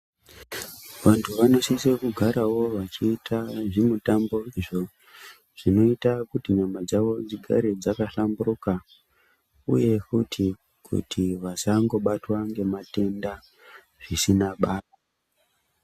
Vantu vanosisa kugarawo vachiita zvimutambo izvo zvinoita kuti nyamadzawo dzigare dzakahlamburuka uyefuti kuti vasangobatwa ngematenda zvisinabasa.